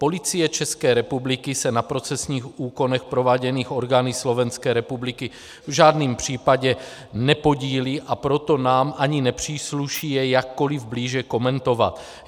Policie České republiky se na procesních úkonech prováděných orgány Slovenské republiky v žádném případě nepodílí, a proto nám ani nepřísluší je jakkoli blíže komentovat.